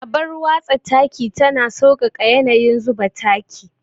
Abar watsa taki tana sauƙaƙa yanayin zuba taki.